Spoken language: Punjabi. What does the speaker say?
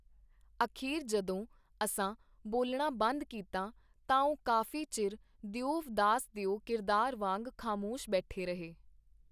ਅਖੀਰ ਜਦੋਂ ਅਸਾਂ ਬੋਲਣਾ ਬੰਦ ਕੀਤਾ ਤਾਂ ਉਹ ਕਾਫੀ ਚਿਰ, ਦਿਓਵ ਦਾਸ ਦਿਓ ਕਿਰਦਾਰ ਵਾਂਗ, ਖਾਮੋਸ਼ ਬੈਠੇ ਰਹੇ.